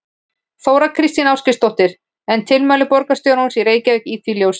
Þóra Kristín Ásgeirsdóttir: En tilmæli borgarstjórans í Reykjavík í því ljósi?